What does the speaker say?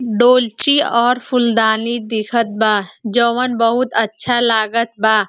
डोलची और फूल दानी दिखत बा जवन बहुत अच्छा लागत बा।